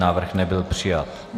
Návrh nebyl přijat.